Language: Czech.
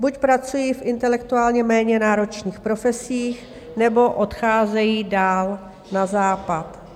Buď pracují v intelektuálně méně náročných profesích, nebo odcházejí dál na Západ.